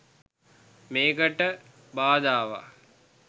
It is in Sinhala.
මේකට බාධාවක්.